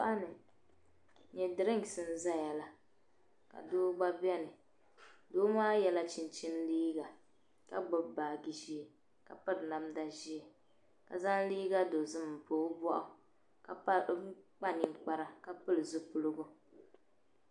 Shitoɣu ni n nyɛ dirinks n ʒɛya la ka doo gba biɛni doo maa yɛla chinchini liiga ka gbubi baaji ʒiɛ ka piri namda ʒiɛ ka zaŋ liiga dozim n pa o boɣu ka yɛ liiga dozim ka pili zipiligu